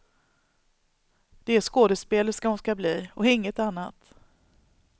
Det är skådespelerska hon skall bli och inget annat.